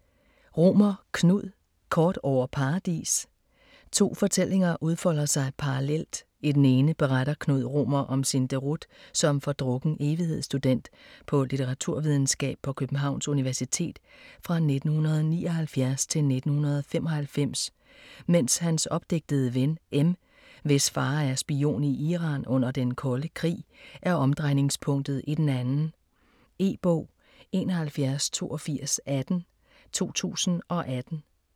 Romer, Knud: Kort over Paradis To fortællinger udfolder sig parallelt. I den ene beretter Knud Romer om sin deroute som fordrukken evighedsstudent på litteraturvidenskab på Københavns Universitet fra 1979-1995, mens hans opdigtede ven, M, hvis far er spion i Iran under den kolde krig, er omdrejningspunktet i den anden. E-bog 718218 2018.